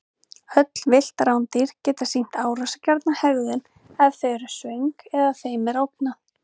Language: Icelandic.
Öll villt rándýr geta sýnt árásargjarna hegðun ef þau eru svöng eða þeim er ógnað.